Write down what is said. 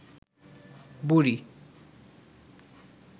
বুড়ি